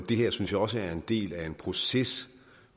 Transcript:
det her synes jeg også er en del af en proces